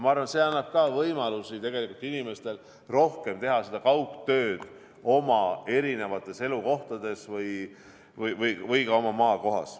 Ma arvan, et see annab ka inimestele rohkem võimalusi teha kaugtööd oma eri elukohtades või ka oma maakohas.